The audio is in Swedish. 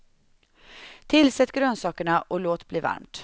Tillsätt grönsakerna och låt bli varmt.